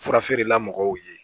Fura feerela mɔgɔw ye